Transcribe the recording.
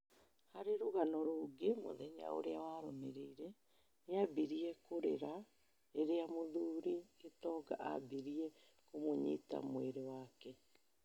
Harĩ rũgano rũngĩ mũthenya ũria warũmĩrĩire, nĩambĩrie kũrĩra rĩrĩa mũthuri Gitonga ambirie kũmũnyita mwĩrĩ wake